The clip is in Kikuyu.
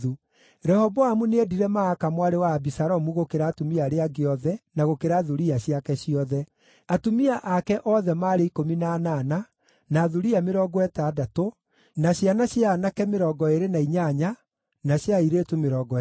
Rehoboamu nĩendire Maaka mwarĩ wa Abisalomu gũkĩra atumia arĩa angĩ othe na gũkĩra thuriya ciake ciothe. Atumia ake othe maarĩ 18 na thuriya 60, ciana cia aanake 28, na cia airĩtu 60.